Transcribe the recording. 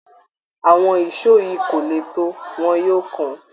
Àwọn èsó yìí kò le tó, wọ́n yóò kán